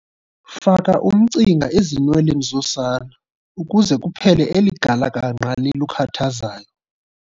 Faka umcinga ezinweleni zosana ukuze kuphele eli galakangqa lilukhathazayo.